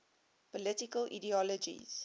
political ideologies